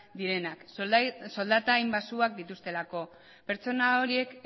direnak soldata hain baxuak dituztelako pertsona horiek